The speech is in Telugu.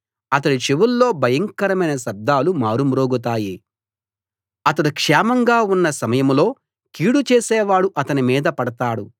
అతడి చెవుల్లో భయంకరమైన శబ్దాలు మారుమ్రోగుతాయి అతడు క్షేమంగా ఉన్న సమయంలో కీడు చేసేవాడు అతని మీద పడతాడు